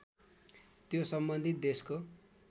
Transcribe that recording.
त्यो सम्बन्धित देशको